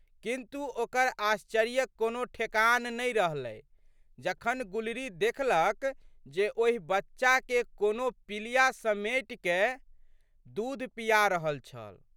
किंतु, ओकर आश्चर्यक कोनो ठेकान नहि रहलै जखन गुलरी देखलक जे ओहि बच्चाके कोनो पिलिया समेटिकए दूध पिया रहल छल।